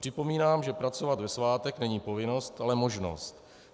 Připomínám, že pracovat ve svátek není povinnost, ale možnost.